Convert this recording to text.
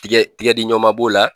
Tigɛ tigɛdi ɲɔnma b'o la.